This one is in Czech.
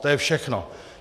To je všechno.